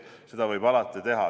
Seda võib alati teha.